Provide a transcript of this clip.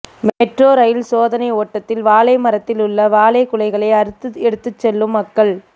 metro rail சோதனை ஓட்டத்தில் வாழை மரத்தில் உள்ள வாழை குலைகளை அறுத்து எடுத்து செல்லும் மக்கள்